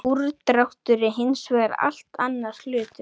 Úrdráttur er hins vegar allt annar hlutur.